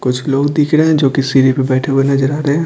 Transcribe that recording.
कुछ लोग दिख रहे हैं जो कि सीरी पर बैठे हुए नजर आ रहे हैं।